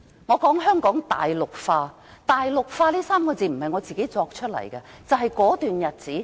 我說香港大陸化，"大陸化"這3個字不是我自己虛構出來的。